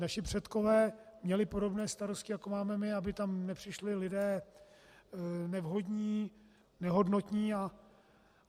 Naši předkové měli podobné starosti, jako máme my, aby tam nepřišli lidé nevhodní, nehodnotní.